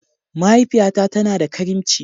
Mahaifiyata tana da karimci.